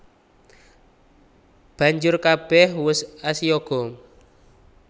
Banjur kabèh wus asiyaga